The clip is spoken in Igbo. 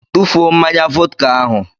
Tụfuo mmanya vọdka ahụ.